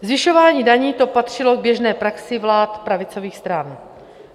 Zvyšování daní, to patřilo k běžné praxi vlád pravicových stran.